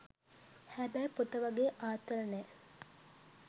හැබැයි පොත වගේ ආතල් නෑ.